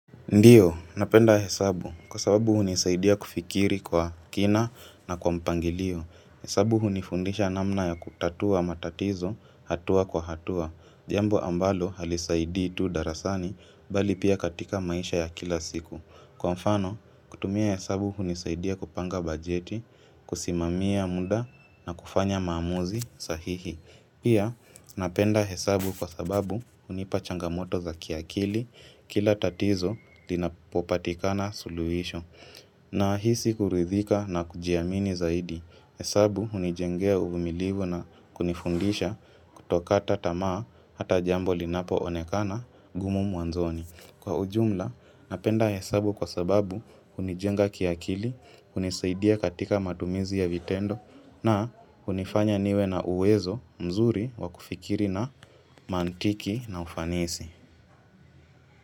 Ndiyo, napenda hesabu. Kwa sababu hunisaidia kufikiri kwa kina na kwa mpangilio. Hesabu unifundisha namna ya kutatua matatizo, hatua kwa hatua. Jambo ambalo halisaidi tu darasani, bali pia katika maisha ya kila siku. Kwa mfano, kutumia hesabu hunisaidia kupanga bajeti, kusimamia muda na kufanya maamuzi sahihi. Pia napenda hesabu kwa sababu hunipa changamoto za kiakili kila tatizo linapopatikana suluisho na hisi kuridhika na kujiamini zaidi hesabu hunijengea uvumilivu na kunifundisha kutokata tama hata jambo linapo onekana ngumu mwanzoni. Kwa ujumla, napenda hesabu kwa sababu hunijenga kiakili, kunisaidia katika matumizi ya vitendo na kunifanya niwe na uwezo mzuri wakufikiri na mantiki na ufanisi.